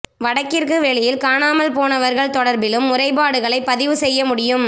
வடக்கிற்கு வெளியில் காணாமல் போனவர்கள் தொடர்பிலும் முறைப்பாடுகளைப் பதிவு செய்ய முடியும்